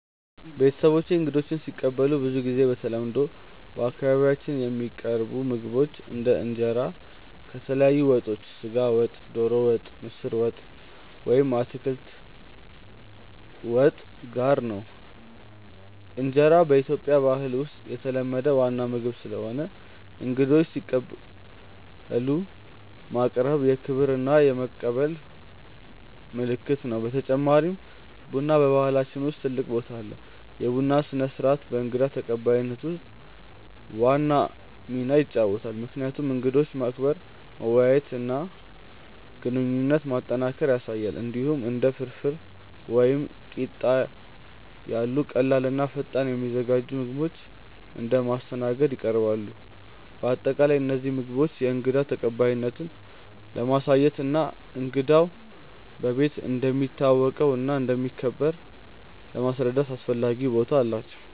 ቤተሰቦቼ እንግዶችን ሲቀበሉ ብዙ ጊዜ በተለምዶ በአካባቢያችን የሚቀርቡ ምግቦች እንደ እንጀራ ከተለያዩ ወጦች (ስጋ ወጥ፣ ዶሮ ወጥ፣ ምስር ወጥ ወይም አትክልት ወጥ) ጋር ነው። እንጀራ በኢትዮጵያ ባህል ውስጥ የተለመደ ዋና ምግብ ስለሆነ እንግዶችን ሲቀበሉ ማቅረቡ የክብር እና የመቀበል ምልክት ነው። በተጨማሪም ቡና በባህላችን ውስጥ ትልቅ ቦታ አለው፤ የቡና ስነ-ስርዓት በእንግዳ ተቀባይነት ውስጥ ዋና ሚና ይጫወታል፣ ምክንያቱም እንግዶችን ማክበር፣ መወያየት እና ግንኙነት ማጠናከር ያሳያል። እንዲሁም እንደ ፍርፍር ወይም ቂጣ ያሉ ቀላል እና ፈጣን የሚዘጋጁ ምግቦች እንደ ማስተናገድ ይቀርባሉ። በአጠቃላይ እነዚህ ምግቦች የእንግዳ ተቀባይነትን ለማሳየት እና እንግዳው በቤት እንደሚታወቀው እና እንደሚከበር ለማስረዳት አስፈላጊ ቦታ አላቸው።